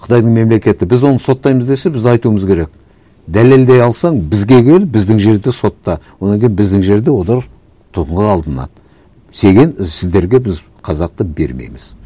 қытайдың мемлекеті біз оны соттаймыз десе біз айтуымыз керек дәлелдей алсаң бізге кел біздің жерде сотта одан кейін біздің жерде олар алынады і сіздерге біз қазақты бермейміз